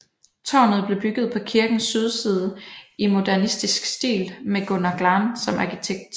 Tårnet blev bygget på kirkens sydside i modernistisk stil med Gunnar Glahn som arkitekt